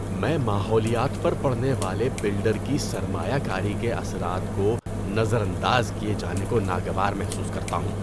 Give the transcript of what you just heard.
میں ماحولیات پر پڑنے والے بلڈر کی سرمایہ کاری کے اثرات کو نظر انداز کیے جانے کو ناگوار محسوس کرتا ہوں۔